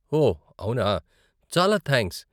ఓ, అవునా. చాలా థాంక్స్.